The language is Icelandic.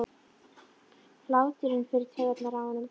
Hláturinn fer í taugarnar á honum.